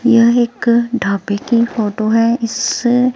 यहां एक ढाबे की फोटो है। इस--